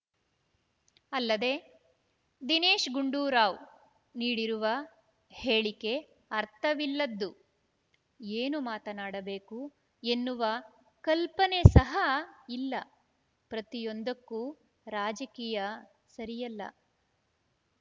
ಅಲ್ಲದೆ ದಿನೇಶ್‌ ಗುಂಡೂರಾವ್‌ ನೀಡಿರುವ ಹೇಳಿಕೆ ಅರ್ಥವಿಲ್ಲದ್ದು ಏನು ಮಾತನಾಡಬೇಕು ಎನ್ನುವ ಕಲ್ಪನೆ ಸಹ ಇಲ್ಲ ಪ್ರತಿಯೊಂದಕ್ಕೂ ರಾಜಕೀಯ ಸರಿಯಲ್ಲ